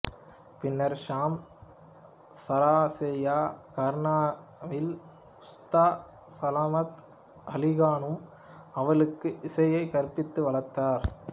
பின்னர் ஷாம் சராசியா கரனாவின் உஸ்தாத் சலமத் அலிகானும் அவளுக்குக் இசையை கற்பித்து வளர்த்தார்